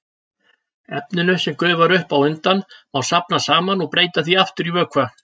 Efninu, sem gufar upp á undan, má safna saman og breyta því aftur í vökva.